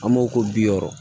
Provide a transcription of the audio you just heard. An b'o ko bi wɔɔrɔ